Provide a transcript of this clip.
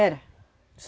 Era.